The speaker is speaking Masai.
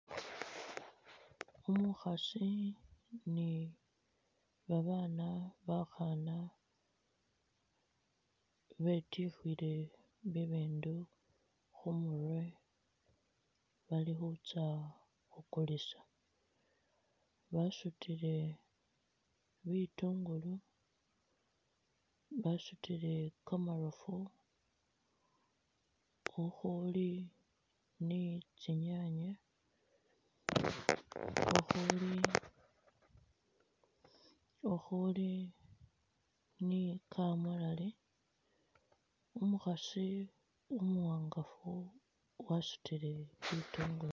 Umukhaasi ni babaana bakhaana betyukhile bibindu khumurwe bali khutsya khukulisa, basutile bitungulu, basutile kamarofu khukhuuli ni tsinyanye, khukhuli-khukhuli ni kamulali, umukhaasi umuwangafu wasutile bitungulu.